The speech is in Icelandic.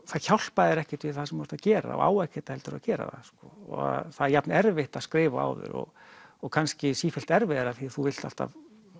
það hjálpar þér ekkert við það sem þú ert að gera og á ekkert heldur að gera það það er jafn erfitt að skrifa og áður og og kannski sífellt erfiðara því þú vilt alltaf